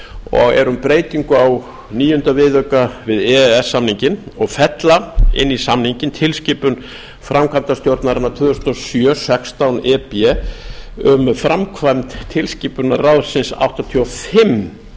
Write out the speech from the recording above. og er um breytingu á níunda viðauka við e e s samninginn og fella inn í samninginn tilskipun framkvæmdastjórnarinnar tvö þúsund og sjö sextán e b um framkvæmd tilskipunar ráðsins áttatíu og fimm